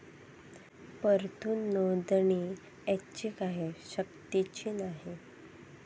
परंतु नोंदणी ऐच्छिक आहे, सक्तीची नाही.